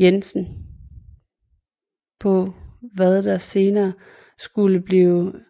Jensen på hvad der senere skulle blive